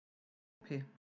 Hópi